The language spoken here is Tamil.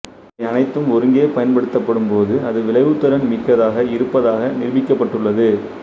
இவை அனைத்தும் ஒருங்கே பயன்படுத்தப்படும்போது அது விளைவுத்திறன் மிக்கதாக இருப்பதாக நிரூபிக்கப்பட்டுள்ளது